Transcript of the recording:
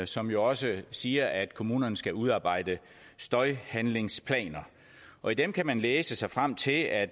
som jo også siger at kommunerne skal udarbejde støjhandlingsplaner og i dem kan man læse sig frem til at